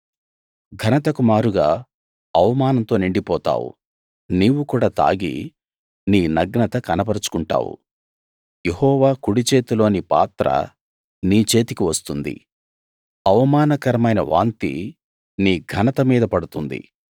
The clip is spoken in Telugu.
ఘనతకు మారుగా అవమానంతో నిండిపోతావు నీవు కూడా తాగి నీ నగ్నత కనపరచుకుంటావు యెహోవా కుడిచేతిలోని పాత్ర నీ చేతికి వస్తుంది అవమానకరమైన వాంతి నీ ఘనత మీద పడుతుంది